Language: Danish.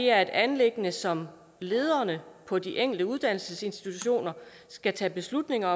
er et anliggende som lederne på de enkelte uddannelsesinstitutioner skal tage beslutninger